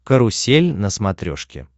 карусель на смотрешке